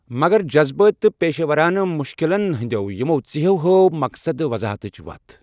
مَگر، جزبٲتی تہٕ پیشہٕ وَرانہٕ مُشکِلن ہِنٛدٮ۪و یِمو ژیٚہو ہٲو مقصد وضاحتٕچ وَتھ۔